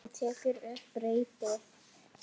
Hún tekur upp reipið.